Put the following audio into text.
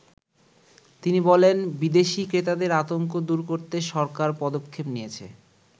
তিনি বলেন, "বিদেশী ক্রেতাদের আতংক দুর করতে সরকার পদক্ষেপ নিয়েছে।